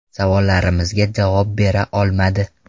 Savollarimizga javob bera olmadi.